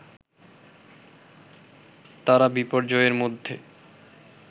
তারা বিপর্যয়ের মধ্যে